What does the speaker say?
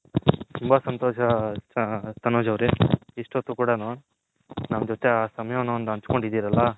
ತುಂಬಾ ಸಂತೋಷ ತನೋಜ್ ಅವರೇ ಇಷ್ತೋತ್ತು ಕುಡನು ನಮ್ಮ ಜೊತೆ ಆ ಸಮಯವನ್ನು ಅಂಚ್ಕೊಂಡಿರಲ್ಲ.